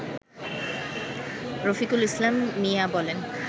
রফিকুল ইসলাম মিয়া বলেন